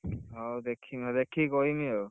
ହଉ ଦେଖିବା ଦେଖିକି କହିମି ଆଉ,